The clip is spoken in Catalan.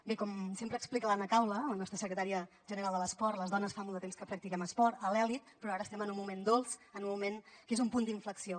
bé com sempre explica l’anna caula la nostra secretària general de l’esport les dones fa molt de temps que practiquem esport a l’elit però ara estem en un moment dolç en un moment que és un punt d’inflexió